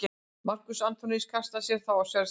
Markús Antoníus kastaði sér þá á sverð sitt.